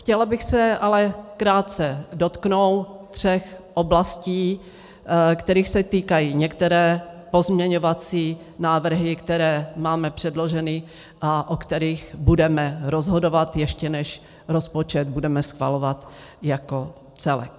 Chtěla bych se ale krátce dotknout tří oblastí, kterých se týkají některé pozměňovací návrhy, které máme předloženy a o kterých budeme rozhodovat, ještě než rozpočet budeme schvalovat jako celek.